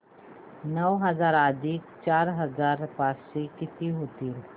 नऊ हजार अधिक चार हजार पाचशे किती होतील